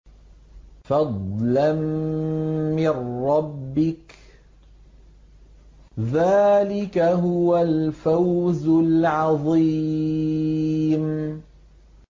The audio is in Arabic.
فَضْلًا مِّن رَّبِّكَ ۚ ذَٰلِكَ هُوَ الْفَوْزُ الْعَظِيمُ